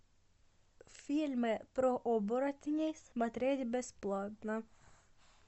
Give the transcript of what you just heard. фильмы про оборотней смотреть бесплатно